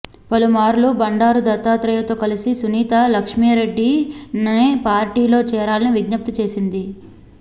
పలుమార్లు బండారు దత్తాత్రేయ తో కలిసి సునీత లక్ష్మారెడ్డి ని పార్టీలో చేరాలని విజ్ఞప్తి చేసింది